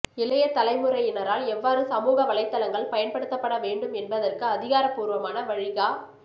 இளைய தலைமுறையினரால் எவ்வாறு சமூக வலைத்தளங்கள் பயன்படுத்தப்பட வேண்டும் என்பதற்கு அதிகாரபூர்வமான வழிகா